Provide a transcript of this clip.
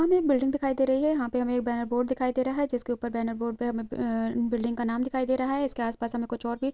हमें एक बिल्डिंग दिखाई दे रही है यहाँ पे हमें एक बैनर बोर्ड दिखाई दे रहा है जिसके ऊपर बैनर बोर्ड पे बै-बै हमें अ बिल्डिंग का नाम दिखाई दे रहा है इसके आसपास हमें कुछ और भी --